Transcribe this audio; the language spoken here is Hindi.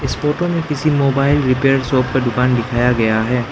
इस फोटो में किसी मोबाइल रिपेयर शॉप का दुकान दिखाया गया है।